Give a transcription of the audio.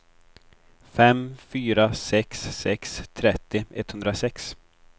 fem fyra sex sex trettio etthundrasex